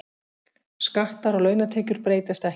Skattar á launatekjur breytast ekki